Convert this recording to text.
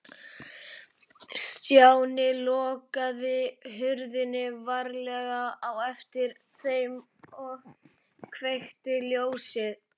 Stjáni lokaði hurðinni varlega á eftir þeim og kveikti ljósið.